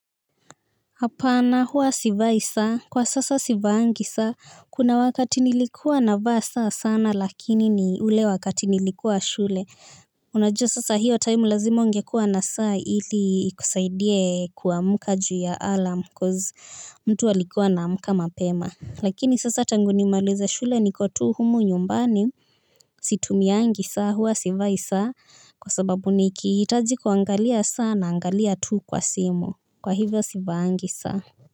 Hapana huwa sivai saa, kwa sasa sivangi saa, kuna wakati nilikuwa na vaa saa sana lakini ni ule wakati nilikuwa shule, unajua sasa hiyo time lazima ungekua na saa ili ikusaidie kuamka ju ya alarm coz mtu alikuwa anamkama pema. Lakini sasa tangu nimaalize shule nikotu humu nyumbani. Situmia angi saa huwa sivai saa. Kwa sababu nikihitaji kuangalia saa na angalia tu kwa simu. Kwa hivyo sivaangi saa.